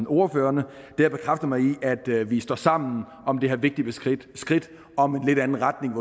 ordførerne har bekræftet mig i at vi står sammen om det her vigtige skridt om en lidt anden retning